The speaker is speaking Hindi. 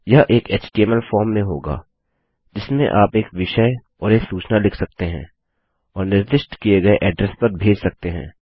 यह एक एचटीएमएल फॉर्म में होगा जिसमें आप एक विषय और एक सूचना लिख सकते हैं और निर्दिष्ट किए एड्रेस पर भेज सकते हैं